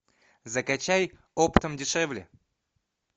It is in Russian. закачай оптом дешевле